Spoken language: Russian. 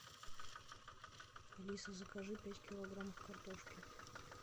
алиса закажи пять килограммов картошки